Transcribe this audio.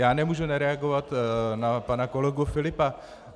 Já nemůžu nereagovat na pana kolegu Filipa.